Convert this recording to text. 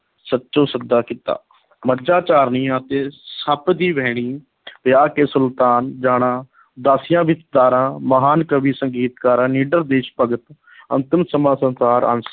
ਸੱਚਾ ਸੌਦਾ ਕੀਤਾ ਮੱਝਾ ਚਾਰਨੀਆਂ ਤੇ ਸੱਪ ਦੀ ਵਹਿਣੀ ਵਿਆਹ ਕੇ ਸੁਲਤਾਨ ਜਾਣਾ ਦਾਸੀਆਂ ਵਿੱਚ ਧਾਰਾਂ, ਮਹਾਨ ਕਵੀ ਸੰਗੀਤਕਾਰ, ਨਿੱਡਰ ਦੇਸ਼ ਭਗਤ ਅੰਤਮ ਸਮਾਂ ਅੰਸ਼